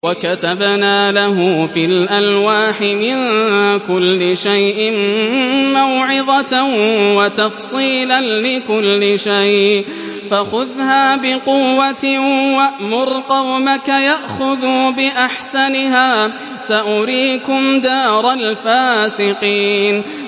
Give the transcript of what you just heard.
وَكَتَبْنَا لَهُ فِي الْأَلْوَاحِ مِن كُلِّ شَيْءٍ مَّوْعِظَةً وَتَفْصِيلًا لِّكُلِّ شَيْءٍ فَخُذْهَا بِقُوَّةٍ وَأْمُرْ قَوْمَكَ يَأْخُذُوا بِأَحْسَنِهَا ۚ سَأُرِيكُمْ دَارَ الْفَاسِقِينَ